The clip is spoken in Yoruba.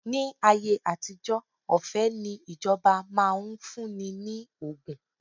Ni ayé àtijó, ọ̀fẹ́ ni ìjọba máa ń fún ni ní ògùn